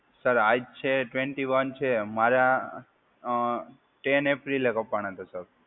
Sir, આજ છે twenty one છે. મારા અ ટેન એપ્રિલે કપાણા હતાં સર.